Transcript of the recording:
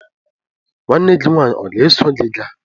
Nwanne gi nwanyi o ga-eso gi gaa?